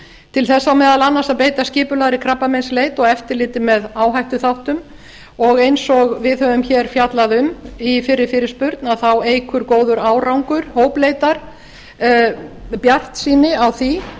til þess á meðal annars að beita skipulagðri krabbameinsleit og eftirliti með áhættuþáttum og eins og við höfum hér fjallað um í fyrri fyrirspurn eykur góður árangur hópleitar bjartsýni á því